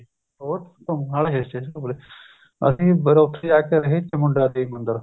ਹੋਰ ਨਾਲੇ hill station ਘੁੰਮਲੇ ਅਸੀਂ ਫ਼ੇਰ ਉੱਥੇ ਜਾ ਕੇ ਅਸੀਂ ਚਮੁੰਡਾ ਦੇਵੀ ਮੰਦਿਰ